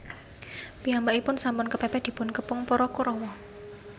Piyambakipun sampun kepèpèt dipun kepung para Korawa